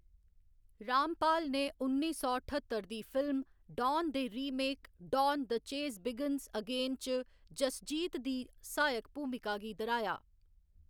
रामपाल ने उन्नी सौ ठत्तर दी फिल्म डान दे remake Don the chase begins again च जसजीत दी सहायक भूमिका गी दर्‌हाया।